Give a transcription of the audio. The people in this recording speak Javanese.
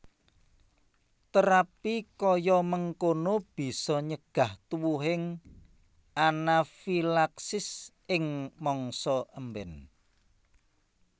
Terapi kaya mengkono bisa nyegah tuwuhing anafilaksis ing mangsa emben